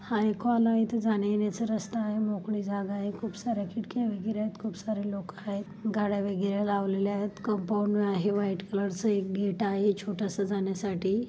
हा एक हॉल आहे इथे जाण्या-येण्याच रस्ता आहे. मोकळी जागा आहे. खूपसार्‍या खिडक्या वैगेरे आहेत खूपसार्‍या लोक आहेत गाड्या वगैरे लावलेला आहेत कंपाऊंड आहे. व्हाइट कलरच एक गेट आहे छोटासा जाण्यासाठी.